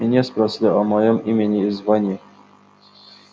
меня спросили о моём имени и звании